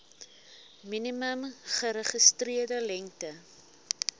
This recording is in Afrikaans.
minimum geregistreerde lengte